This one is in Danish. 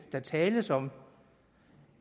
der tales om